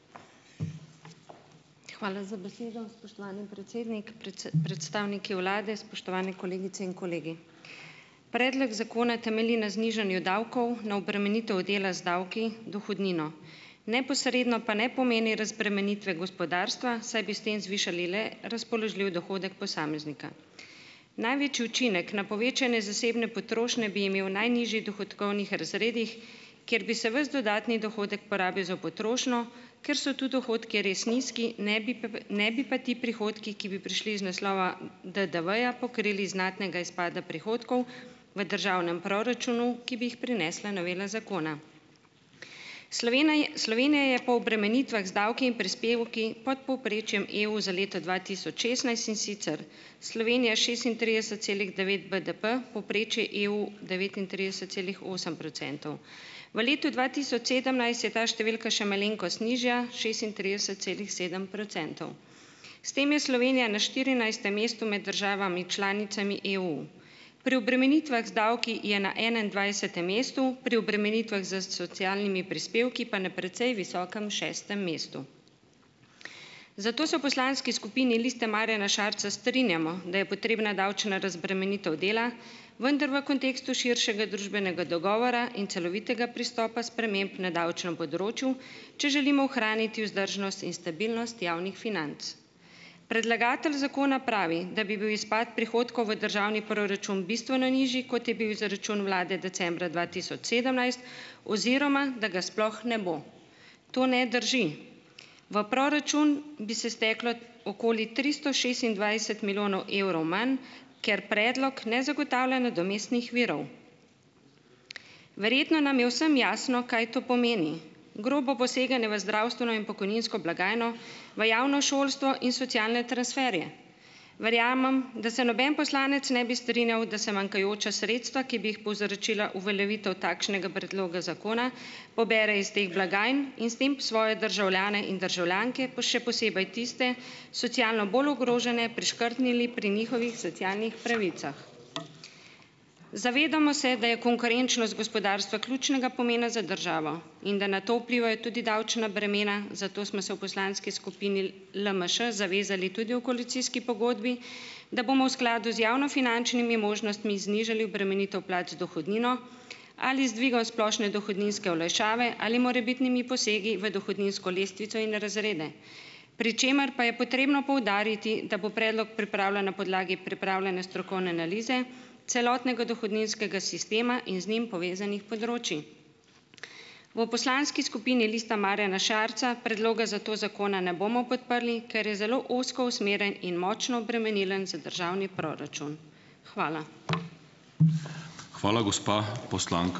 Hvala za besedo, spoštovani predsednik. Precej, predstavniki vlade, spoštovani kolegice in kolegi! Predlog zakona temelji na znižanju davkov, na obremenitvi dela z davki, dohodnino. Neposredno pa ne pomeni razbremenitve gospodarstva, saj bi s tem zvišali le razpoložljiv dohodek posameznika. Največji učinek na povečanje zasebne potrošnje bi imel v najnižjih dohodkovnih razredih, kjer bi se ves dodatni dohodek porabil za potrošnjo, ker so tu dohodki res nizki, ne bi ne pa ti prihodki, ki bi prišli iz naslova DDV-ja, pokrili znatnega izpada prihodkov v državnem proračunu, ki bi jih prinesla novela zakona. je, Slovenija je po obremenitvah z davki in prispevki pod povprečjem EU za leto dva tisoč šestnajst, in sicer Slovenija šestintrideset celih devet BDP, povprečje EU devetintrideset celih osem procentov. V letu dva tisoč sedemnajst je ta številka še malenkost nižja, šestintrideset celih sedem procentov. S tem je Slovenija na štirinajstem mestu med državami članicami EU. Pri obremenitvah z davki je na enaindvajsetem mestu, pri obremenitvah s socialnimi prispevki pa na precej visokem šestem mestu. Zato se v poslanski skupini Liste Marjana Šarca strinjamo, da je potrebna davčna razbremenitev dela, vendar v kontekstu širšega družbenega dogovora in celovitega pristopa sprememb na davčnem področju, če želimo ohraniti vzdržnost in stabilnost javnih financ. Predlagatelj zakona pravi, da bi bil izpad prihodkov v državni proračun bistveno nižji, kot je bil izračun vlade decembra dva tisoč sedemnajst, oziroma, da ga sploh ne bo. To ne drži. V proračun bi se steklo okoli tristo šestindvajset milijonov evrov manj, ker predlog ne zagotavlja nadomestnih virov. Verjetno nam je vsem jasno, kaj to pomeni. Grobo poseganje v zdravstveno in pokojninsko blagajno, v javno šolstvo in socialne transferje. Verjamem, da se noben poslanec ne bi strinjal, da se manjkajoča sredstva, ki bi jih povzročila uveljavitev takšnega predloga zakona, pobere iz teh blagajn in s tem svoje državljane in državljanke, še posebej tiste, socialno bolj ogrožene, priškrtnili pri njihovih socialnih pravicah. Zavedamo se, da je konkurenčnost gospodarstva ključnega pomena za državo, in da na to vplivajo tudi davčna bremena, zato smo se v poslanski skupini LMŠ zavezali tudi v koalicijski pogodbi, da bomo v skladu z javnofinančnimi možnostmi znižali obremenitev plač z dohodnino ali z dvigom splošne dohodninske olajšave ali morebitnimi posegi v dohodninsko lestvico in razrede, pri čemer pa je potrebno poudariti, da bo predlog pripravljen na podlagi pripravljene strokovne analize celotnega dohodninskega sistema in z njim povezanih področij. V poslanski skupini Lista Marjana Šarca predloga zato zakona ne bomo podprli, ker je zelo ozko usmerjen in močno obremenilen za državni proračun. Hvala.